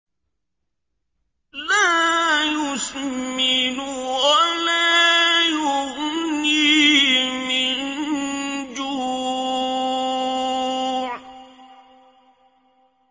لَّا يُسْمِنُ وَلَا يُغْنِي مِن جُوعٍ